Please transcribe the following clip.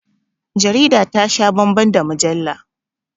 Jarida ta sha bambam da mujalla